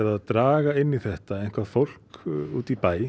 að draga inn í þetta fólk úti í bæ